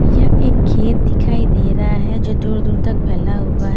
यह एक खेत दिखाई दे रहां है जो दूर दूर तक फैला हुआ है।